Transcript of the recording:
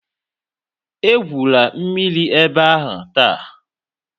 Egwula mmiri ebe a taa!